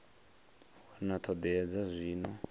wana ṱho ḓea dza zwino